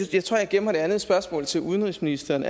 jeg tror jeg gemmer det andet spørgsmål til udenrigsministeren